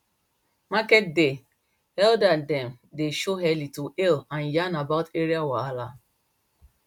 market day elder dem dey show early to hail and yarn about area wahala